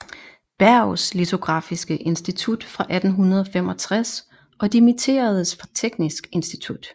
Berghs litografiske Institut 1865 og dimitteredes fra Teknisk Institut